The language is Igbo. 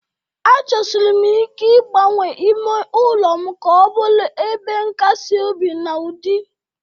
Achọsiri m ike ịgbanwe ime ụlọ m ka ọ bụrụ ebe nkasi obi na ụdị.